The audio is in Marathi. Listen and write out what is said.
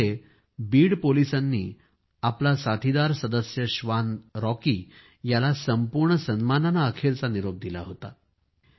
त्यामध्ये बीड पोलिसांनी आपला साथीदार सदस्य श्वान रॉकी याला संपूर्ण सन्मानाने अखेरचा निरोप दिला होता